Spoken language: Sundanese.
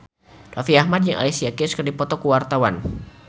Raffi Ahmad jeung Alicia Keys keur dipoto ku wartawan